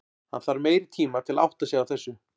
Hann þarf meiri tima til að átta sig á þessu.